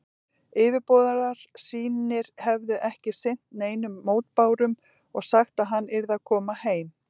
Yfirboðarar sínir hefðu ekki sinnt neinum mótbárum og sagt, að hann yrði að koma heim.